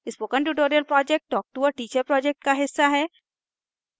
spoken tutorial project talktoa teacher project का हिस्सा है